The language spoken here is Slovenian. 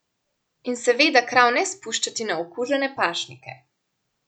In seveda krav ne spuščati na okužene pašnike.